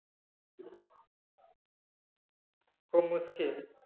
খুব মুশকিল